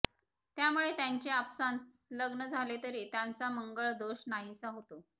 त्यामुळे त्यांचे आपसांत लग्न झालेतरी त्यांचा मंळग दोष नाहीसा होतो